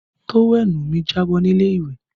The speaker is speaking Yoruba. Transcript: Tówẹ́ẹ̀nù mi jábọ́ ní ilé ìwẹ̀